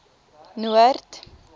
noord